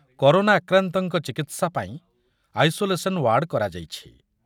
Corona ଆକ୍ରାନ୍ତଙ୍କ ଚିକିତ୍ସା ପାଇଁ ଆଇସୋଲେସନ୍ ୱାର୍ଡ କରାଯାଇଛି ।